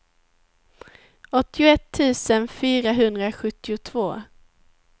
åttioett tusen fyrahundrasjuttiotvå